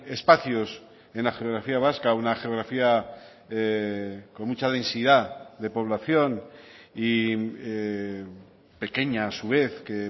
espacios en la geografía vasca una geografía con mucha densidad de población y pequeña a su vez que